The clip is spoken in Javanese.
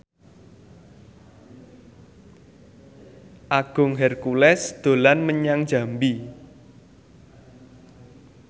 Agung Hercules dolan menyang Jambi